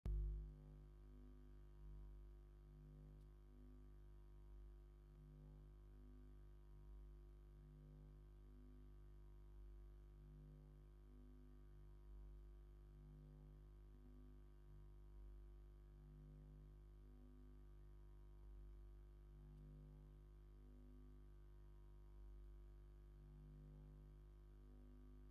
ናይ ክብርን ባህልን ስነ ጥበብን ስምዒት ዘመሓላልፍ፤ ንሱ ድማ ‘ታጂን’ ዝበሃል ባህላዊ ሞሮካዊ ሴራሚክ ዝበሃል ናይ ምብሳልን ምቕራብን ዕትሮ ምስ ዝተሓላለኸ ስራሕ ብሩር ዝገልጽ እዩ። ኣብ ማእከል መኽደኒ ዘሎ መትሓዚ ቀንዲ ሕብሪ እንታይ እዩ?